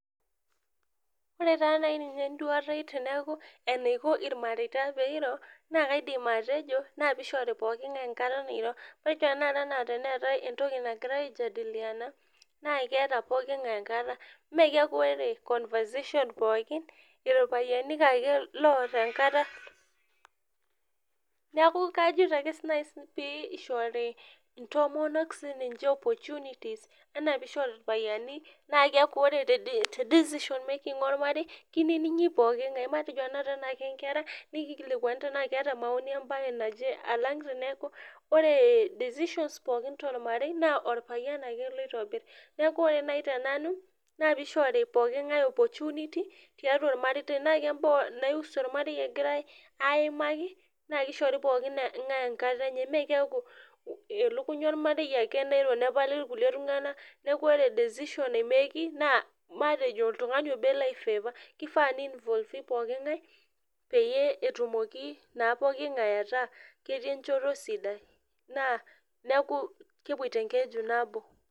ore taa naiyi nye enduata aii teneyaku enaiko irmareita teneiro naa kaidim atejo naa piishori pookin enkata nairo ore tanakata anaa teneatae entoki nagirrai ai jadiliana naa keeta pooki ng'ae enkata mee keaku oree conversation pookin irpayiani ake loota enkata nekuu kajito ake nayi pee eishori intomonok sininche opportunities enaa pee isho irpayiani naa keaku ore te decision making oormarei keinining'i pooki ng'ae neeku mateo tanakata tenaa enkerai nekilikuani tenaa keeta maoni embaye najee alang' teneeku ore decisions pookin tormarei naa orpayian ake loitobirr neeku ore nayii tenanu naa piishori pooki ng'ae opportunity tiatua ormarei tenaa kembaa nai husu ormarei egirai aimaka naa keshori pooki ng'ae enkata enye maa keaku ilukuny ormarei ake nairo nepali irkulie tung'anak neeku ore decision naimeeki naa matejo oltung'ani oboo elo ai favor keifaa nee involve ii pooki ng'ae peyiee etumoki naa pooki ng'ae ataa ketii enchoto sidai naa neeku kepuoi teenkeju nabo.